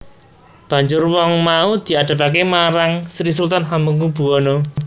Banjur wong mau diadhepaké marang Sri Sultan Hamengkubuwana